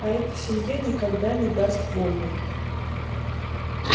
а эта семья никогда не даст вольной